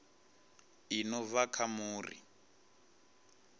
i no bva kha muri